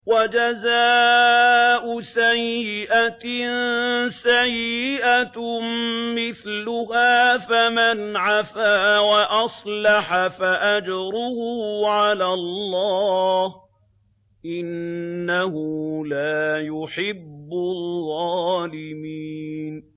وَجَزَاءُ سَيِّئَةٍ سَيِّئَةٌ مِّثْلُهَا ۖ فَمَنْ عَفَا وَأَصْلَحَ فَأَجْرُهُ عَلَى اللَّهِ ۚ إِنَّهُ لَا يُحِبُّ الظَّالِمِينَ